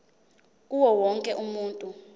kuwo wonke umuntu